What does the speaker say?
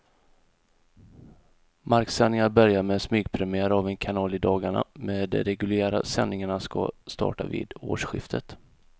Marksändningar börjar med smygpremiär av en kanal i dagarna, men de reguljära sändningarna ska starta vid årsskiftet.